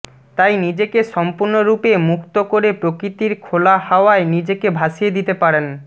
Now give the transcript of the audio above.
তাই নিজেকে সম্পূর্ণরূপে মুক্ত করে প্রকৃতির খোলা হাওয়ায় নিজেকে ভাসিয়ে দিতে পারেন